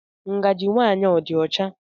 Ngajị nwa a dị ọcha?